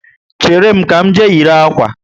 Chéré m, ka m jee yiri akwa